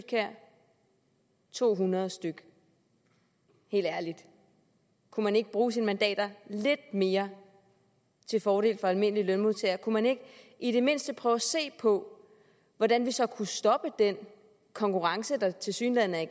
gav to hundrede stykke helt ærligt kunne man ikke bruge sine mandater lidt mere til fordel for almindelige lønmodtagere kunne man ikke i det mindste prøve at se på hvordan vi så kunne stoppe den konkurrence der tilsyneladende er